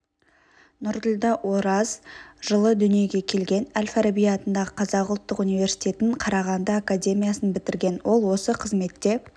нұрділдә ораз жылы дүниеге келген әл-фараби атындағы қазақ ұлттық университетін қарағанды академиясын бітірген ол осы қызметте